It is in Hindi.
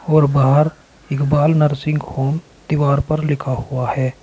और बाहर इकबाल नर्सिंग होम दीवार पर लिखा हुआ है।